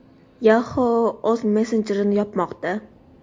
Yahoo o‘z messenjerini yopmoqda.